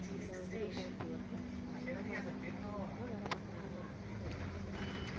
இல்ல வந்து data entry work ல இருக்கியா என்ன மாதிரி நீ என்ன வேலை பார்க்கிற அங்க அப்படிங்கிறதை வந்து கொடுக்கணும்